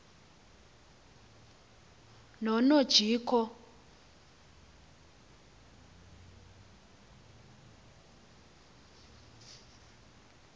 nonojico